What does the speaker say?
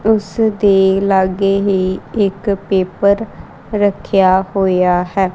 ਉਸ ਦੇ ਲਾਗੇ ਹੀ ਇੱਕ ਪੇਪਰ ਰੱਖਿਆ ਹੋਇਆ ਹੈ।